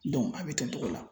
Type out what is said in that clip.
a bɛ ten togo la.